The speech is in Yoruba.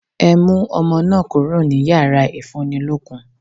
Ẹ mú ọmọ náà kúrò ní yàrá ìfúnnilókun!